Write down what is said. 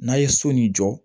N'a ye so nin jɔ